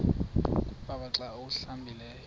konwaba xa awuhlambileyo